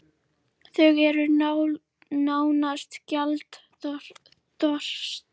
Þau eru nánast gjaldþrota